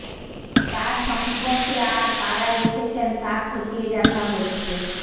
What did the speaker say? তার সংস্পর্শে আর কারা এসেছেন তা খতিয়ে দেখা হচ্ছে